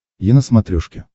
е на смотрешке